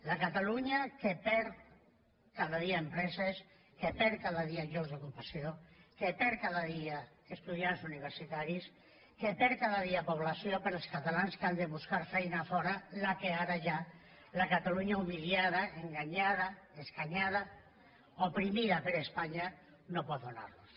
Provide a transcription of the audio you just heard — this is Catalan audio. la catalunya que perd cada dia empreses que perd cada dia llocs d’ocupació que perd cada dia estudiants universitaris que perd cada dia població pels catalans que han de buscar feina a fora la que ara hi ha la catalunya humiliada enganyada escanyada oprimida per espanya no pot donar nos